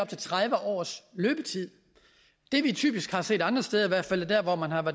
til tredive års løbetid det vi typisk har set andre steder steder hvor man har